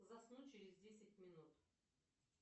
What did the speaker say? заснуть через десять минут